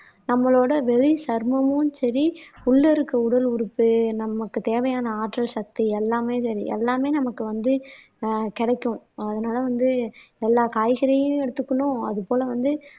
நம்மளோட வெளி சருமமும் சரி உள்ள இருக்க உடல் உறுப்பு நமக்கு தேவையான ஆற்றல் சக்தி எல்லாமே வே எல்லாமே நமக்கு வந்து ஆஹ் கிடைக்கும் அதனால வந்து எல்லா காய்கறியும் எடுத்துக்கணும் அது போல வந்து